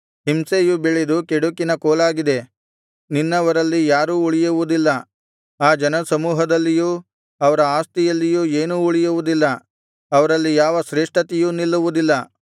ಹಿಂಸೆಯು ಬೆಳೆದು ಕೆಡುಕಿನ ಕೋಲಾಗಿದೆ ನಿನ್ನವರಲ್ಲಿ ಯಾರೂ ಉಳಿಯುವುದಿಲ್ಲ ಆ ಜನಸಮೂಹದಲ್ಲಿಯೂ ಅವರ ಆಸ್ತಿಯಲ್ಲಿಯೂ ಏನೂ ಉಳಿಯುವುದಿಲ್ಲ ಅವರಲ್ಲಿ ಯಾವ ಶ್ರೇಷ್ಠತೆಯೂ ನಿಲ್ಲುವುದಿಲ್ಲ